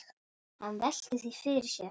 Hann veltir því fyrir sér.